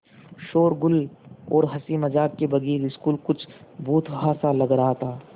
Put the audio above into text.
शोरोगुल और हँसी मज़ाक के बगैर स्कूल कुछ भुतहा सा लग रहा था